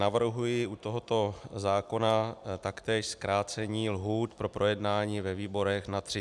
Navrhuji u tohoto zákona taktéž zkrácení lhůt pro projednání ve výborech na 30 dnů.